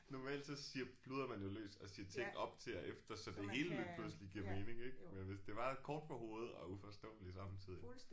Normalt så siger pludrer man jo løs og siger ting op til og efter så det hele lige pludselig giver mening ik men hvis det bare er kort fra hovedet og uforståeligt samtidigt